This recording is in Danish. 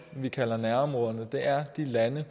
vi kalder nærområderne er lande